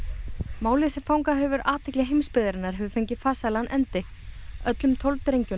málið sem fangað hefur athygli heimsbyggðarinnar hefur fengið farsælan endi öllum tólf drengjunum